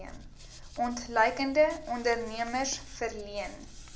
ontluikende ondernemers verleen